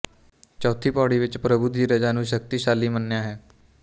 ਚੌਥੀ ਪਉੜੀ ਵਿੱਚ ਪ੍ਰਭੂ ਦੀ ਰਜ਼ਾ ਨੂੰ ਸ਼ਕਤੀਸ਼ਾਲੀ ਮੰਨਿਆ ਹੈ